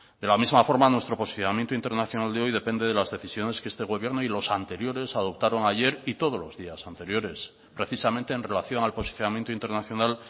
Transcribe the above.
de la misma forma nuestro posicionamiento internacional de hoy depende de las decisiones que este gobierno y los anteriores adoptaron ayer y todos los días anteriores precisamente en relación al posicionamiento internacional